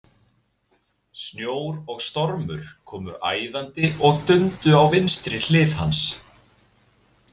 Snjór og stormur komu æðandi og dundu á vinstri hlið hans.